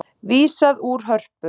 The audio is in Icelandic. Vísað úr Hörpu